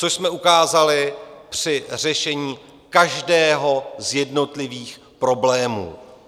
Což jsme ukázali při řešení každého z jednotlivých problémů.